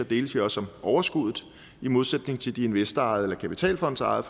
deles vi også om overskuddet i modsætning til de investorejede eller kapitalfondsejede